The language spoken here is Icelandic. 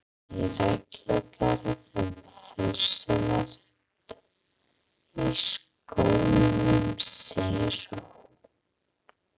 Í reglugerð um heilsuvernd í skólum segir svo